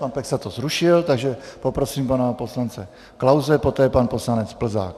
Pan Peksa to zrušil, takže poprosím pana poslance Klause, poté pan poslanec Plzák.